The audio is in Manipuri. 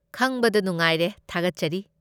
ꯈꯪꯕꯗ ꯅꯨꯡꯉꯥꯏꯔꯦ, ꯊꯥꯒꯠꯆꯔꯤ꯫